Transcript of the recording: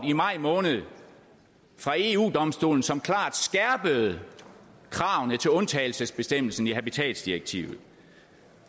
i maj måned fra eu domstolen som klart skærpede kravene til undtagelsesbestemmelsen i habitatsdirektivet